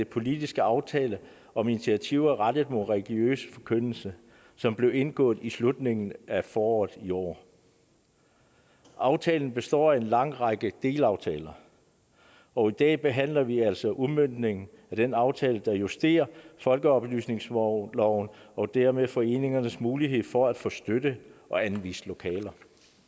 politiske aftale om initiativer rettet mod religiøs forkyndelse som blev indgået i slutningen af foråret i år aftalen består af en lang række delaftaler og i dag behandler vi altså udmøntningen af den aftale der justerer folkeoplysningsloven og dermed foreningernes mulighed for at få støtte og anvist lokaler